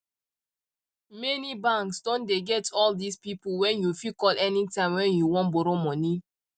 many banks doh dey get all these people wen you fit call anytime wen you won borrow money